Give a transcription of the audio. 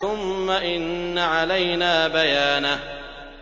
ثُمَّ إِنَّ عَلَيْنَا بَيَانَهُ